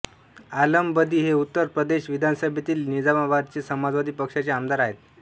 आलम बदी हे उत्तर प्रदेश विधानसभेतील निजामाबादचे समाजवादी पक्षाचे आमदार आहेत